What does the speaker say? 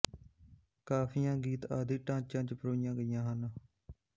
ਕਾਫ਼ੀਆਂ ਗੀਤ ਆਦਿ ਢਾਂਚਿਆਂ ਚ ਪਰੋਈਆਂ ਗਈਆਂ ਹਨ